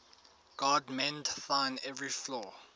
god mend thine every flaw